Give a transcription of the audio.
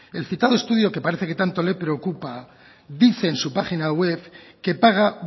el citado estudio que parece que tanto le preocupa dice en su página web que paga